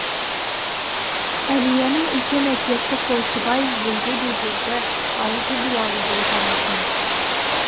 әлияның үлкен әкесі қойшыбай елге беделді ауызы дуалы болған екен